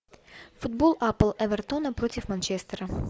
футбол апл эвертона против манчестера